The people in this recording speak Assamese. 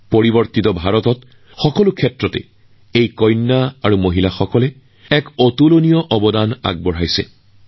পৰিৱৰ্তিত ভাৰতত আমাৰ দেশৰ কন্যা আৰু মহিলাসকলে প্ৰতিটো ক্ষেত্ৰতে আচৰিত কাম কৰি আছে